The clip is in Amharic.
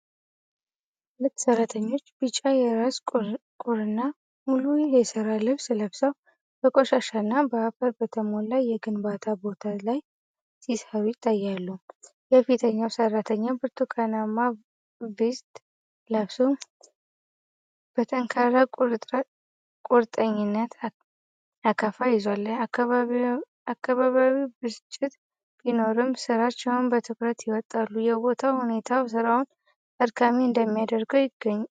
ሁለት ሠራተኞች ቢጫ የራስ ቁርና ሙሉ የሥራ ልብስ ለብሰው በቆሻሻና በአፈር በተሞላ የግንባታ ቦታ ላይ ሲሠሩ ይታያሉ። የፊተኛው ሠራተኛ ብርቱካናማ ቬስት ለብሶ በጠንካራ ቁርጠኝነት አካፋ ይዟል፤ አካባቢያዊው ብስጭት ቢኖርም ሥራቸውን በትኩረት ይወጣሉ። የቦታው ሁኔታ ሥራውን አድካሚ እንደሚያደርገው ይናገራል።